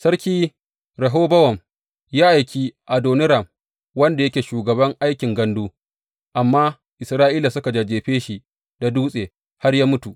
Sarki Rehobowam ya aiki Adoniram wanda yake shugaban aikin gandu, amma Isra’ila suka jajjefe shi da dutse har ya mutu.